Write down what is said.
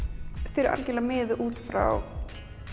þau eru algjörlega miðuð út frá